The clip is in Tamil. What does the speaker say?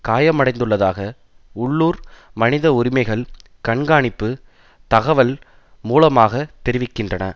காயமடைந்துள்ளதாக உள்ளூர் மனித உரிமைகள் கண்கானிப்பு தகவல் மூலமாக தெரிவிக்கின்றன